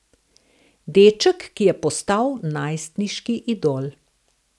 Deček, ki je postal najstniški idol.